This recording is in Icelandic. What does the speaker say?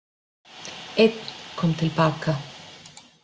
Einn kom til baka.